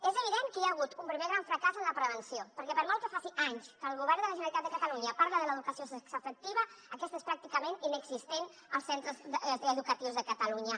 és evident que hi ha hagut un primer gran fracàs en la prevenció perquè per molt que faci anys que el govern de la generalitat de catalunya parla de l’educació sexo afectiva aquesta és pràcticament inexistent als centres educatius de catalunya